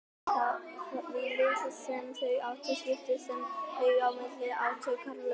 Því litla sem þau áttu skiptu þau á milli sín átakalaust.